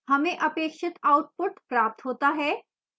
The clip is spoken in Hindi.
हमें अपेक्षित output प्राप्त होता है